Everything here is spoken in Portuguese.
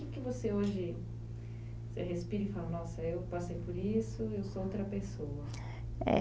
O que que você hoje você respira e fala, nossa, eu passei por isso, eu sou outra pessoa. Eh...